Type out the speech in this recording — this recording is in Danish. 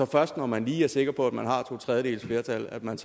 først når man lige er sikker på at man har to tredjedeles flertal at man